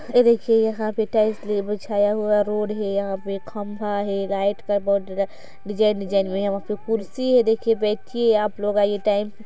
यह देखिए यहाँ पर टाइल्स बिछाया हुआ ह रोड है यहाँ पे खम्बा है डिजाइन डिजाइन यहाँ कुर्सी है देखिए आप लोग आइये |